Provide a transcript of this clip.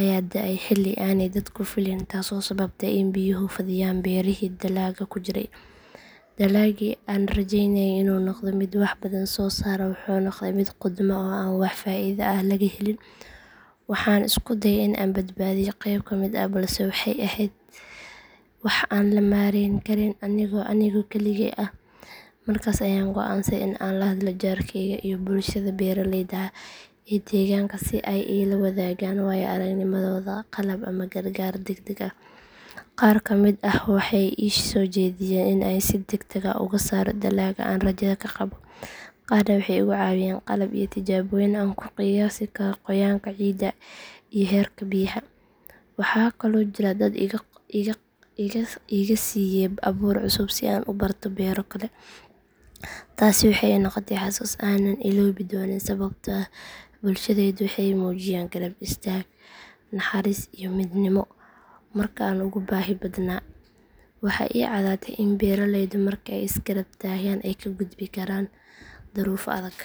ayaa da’ay xilli aanay dadku fileyn taasoo sababtay in biyuhu fadhiyaan beerihii dalagga ku jiray. Dalaggii aan rajeynayay inuu noqdo mid wax badan soo saara wuxuu noqday mid qudhma oo aan wax faa’iido ah laga helin. Waxaan isku dayay in aan badbaadiyo qeyb ka mid ah balse waxay ahayd wax aan la maareyn karin anigoo keligey ah. Markaas ayaan go’aansaday in aan la hadlo jaarkayga iyo bulshada beeraleyda ah ee deegaanka si ay iila wadaagaan waayo aragnimadooda, qalab ama gargaar degdeg ah. Qaar ka mid ah waxay ii soo jeediyeen in aan si degdeg ah uga saaro dalagga aan rajada ka qabo, qaarna waxay igu caawiyeen qalab iyo tijaabooyin aan ku qiyaasi karo qoyaanka ciidda iyo heerka biyaha. Waxaa kaloo jira dad iga siiyay abuur cusub si aan u barto beero kale. Taasi waxay ii noqotay xasuus aanan ilaabi doonin sababtoo ah bulshadaydu waxay muujiyeen garab istaag, naxariis iyo midnimo marka aan ugu baahi badnaa. Waxaa ii caddaatay in beeraleydu marka ay is garab taagaan ay ka gudbi karaan duruufo adag.